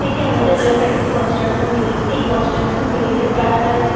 এটি আমাদের এলাকার একটি কনস্ট্রাকশন বিল্ডিং । এই কনস্ট্রাকশন বিল্ডিং -এর কাজ প্রায় শেষ--